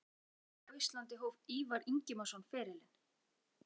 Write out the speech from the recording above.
Með hvaða liði á Íslandi hóf Ívar Ingimarsson ferilinn?